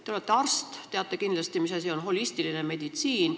Te olete arst ja teate kindlasti, mis asi on holistiline meditsiin.